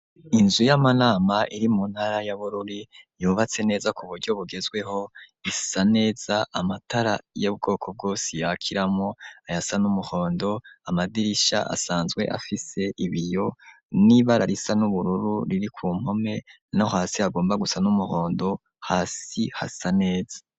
Inzu yamanama iri mu ntara ya Bururi yubatse neza ku buryo bugezweho isa neza , amatara yubwoko bwose yakiramwo , ayasa numuhondo ,amadirisha asanzwe afise ibiyo nibara risa nubururu riri ku mpome, no hasi hagomba gusa numuhondo , hasi hasa neza